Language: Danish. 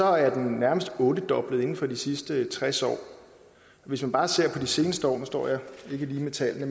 er den nærmeste ottedoblet inden for de sidste tres år hvis man bare ser på de seneste år nu står jeg ikke lige med tallene